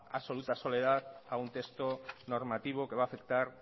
absoluta soledad a un texto normativo que va a afectar